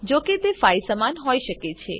જોકે તે 5 સમાન હોઈ શકે છે